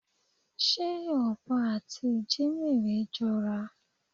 Ṣé ọ̀bọ àti ìjímérè jọra?